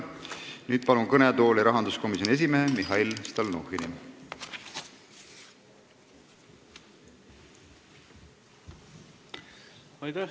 Nüüd palun kõnetooli rahanduskomisjoni esimehe Mihhail Stalnuhhini!